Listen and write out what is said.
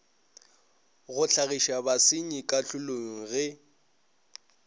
go hlagiša basenyi kahlolong ge